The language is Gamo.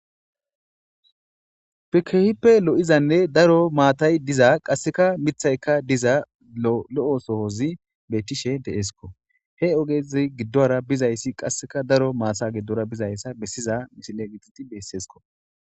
kehippe lo7izanne daro maatay diza qasseka mithaykka diza lo7o sohozi bettishe de'esko he ogezi giddora bizayssi qasseka daro maasa gedora bizayssa bessiza misile gidid besseesko